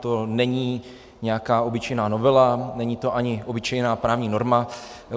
To není nějaká obyčejná novela, není to ani obyčejná právní norma.